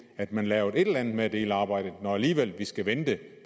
at man lavede et eller andet med at dele arbejdet når vi alligevel skal vente